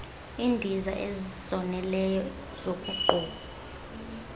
iindiza ezoneleyo zokogquma